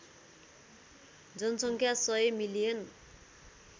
जनसङ्ख्या १०० मिलियन